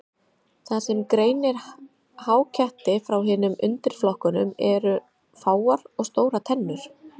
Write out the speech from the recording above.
Það sem greinir háketti frá hinum undirflokkunum eru fáar og stórar tennur.